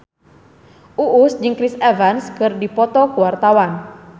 Uus jeung Chris Evans keur dipoto ku wartawan